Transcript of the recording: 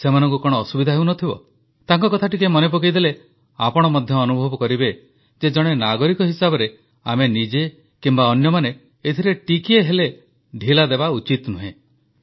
ସେମାନଙ୍କୁ କଣ ଅସୁବିଧା ହେଉନଥିବ ତାଙ୍କ କଥା ଟିକିଏ ମନେ ପକାଇଦେଲେ ଆପଣ ମଧ୍ୟ ଅନୁଭବ କରିବେ ଯେ ଜଣେ ନାଗରିକ ହିସାବରେ ଆମେ ନିଜେ କିମ୍ବା ଅନ୍ୟମାନେ ଏଥିରେ ଟିକିଏ ହେଲେ ଢିଲା ଦେବା ଉଚିତ ନୁହେଁ